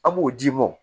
An b'o d'i ma